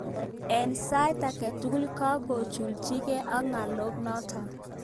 Ik sait aketugul gokogojuljigei ik ngalot notok.